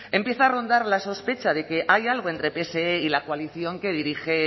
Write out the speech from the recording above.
empieza a rondar la sospecha de que hay algo entre pse y la coalición que dirige